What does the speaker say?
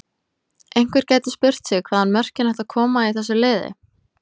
Einhver gæti spurt sig hvaðan mörkin ættu að koma í þessu liði?